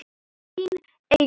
Þín Eygló.